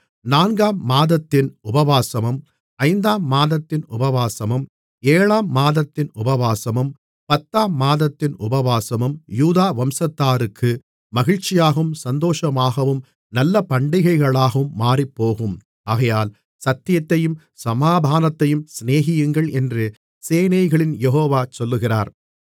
நான்காம் மாதத்தின் உபவாசமும் ஐந்தாம் மாதத்தின் உபவாசமும் ஏழாம் மாதத்தின் உபவாசமும் பத்தாம் மாதத்தின் உபவாசமும் யூதா வம்சத்தாருக்கு மகிழ்ச்சியாகவும் சந்தோஷமாகவும் நல்ல பண்டிகைகளாகவும் மாறிப்போகும் ஆகையால் சத்தியத்தையும் சமாதானத்தையும் சிநேகியுங்கள் என்று சேனைகளின் யெகோவா சொல்லுகிறார்